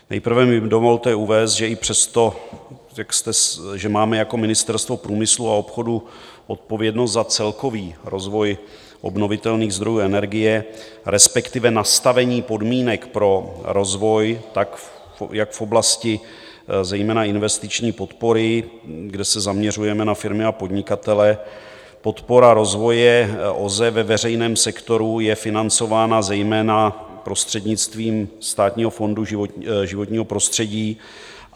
Nejprve mi dovolte uvést, že i přesto, řekl jste, že máme jako Ministerstvo průmyslu a obchodu odpovědnost za celkový rozvoj obnovitelných zdrojů energie, respektive nastavení podmínek pro rozvoj, tak jak v oblasti zejména investiční podpory, kde se zaměřujeme na firmy a podnikatele, podpora rozvoje OZE ve veřejném sektoru je financována zejména prostřednictvím Státního fondu životního prostředí.